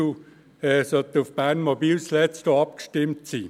sie sollten zuletzt auch auf Bernmobil abgestimmt sein.